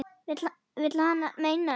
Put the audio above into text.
Vill hann meina.